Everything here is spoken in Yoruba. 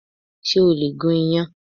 Ṣé o lè gún yán?